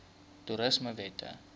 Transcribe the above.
toerismewette